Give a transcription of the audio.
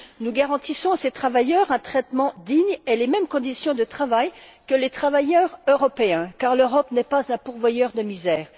Nous garantissons à ces travailleurs un traitement digne et les mêmes conditions de travail que les travailleurs européens car l'Europe n'est pas un pourvoyeur de misère.